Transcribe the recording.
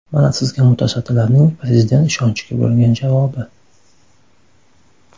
Mana sizga mutasaddilarning Prezident ishonchiga bo‘lgan javobi.